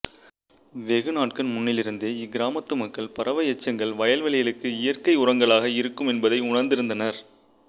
வெகு நாட்கள் முன்னிலிருந்தே இக்கிராமத்து மக்கள் பறவை எச்சங்கள் வயல்வெளிகளுக்கு இயற்கை உரங்களாக இருக்கும் என்பதை உணர்ந்திருந்தனர்